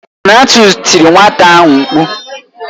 Donatus tiri nwata ahụ mkpu.